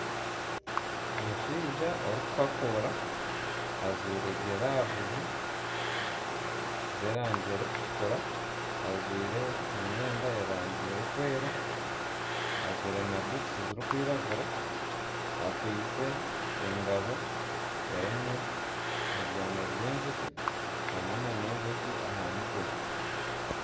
Omushaija orikuhakuura ajwaire giravuzi z'erangi erikutukura, ajwaire emyenda y'erangi erikwera, ajwaire na butusi zirikwiragura akwaitse engabo erimu ebyana by'enjoki hamwe nana enjoki aha mutwe.